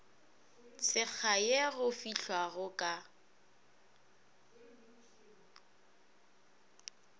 tshekga ye go fehlwago ka